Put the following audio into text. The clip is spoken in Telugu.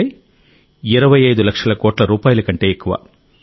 అంటే 25 లక్షల కోట్ల రూపాయల కంటే ఎక్కువ